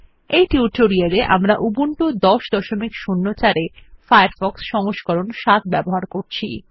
এই টিউটোরিয়াল এ আমরা উবুন্টু ১০০৪ এ ফায়ারফক্স এর সংস্করণ সাত ব্যবহার করবো